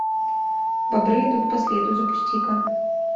бобры идут по следу запусти ка